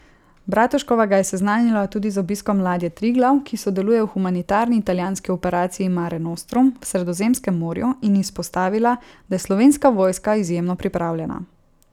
Bratuškova ga je seznanila tudi z obiskom ladje Triglav, ki sodeluje v humanitarni italijanski operaciji Mare Nostrum v Sredozemskem morju, in izpostavila, da je Slovenska vojska izjemno pripravljena.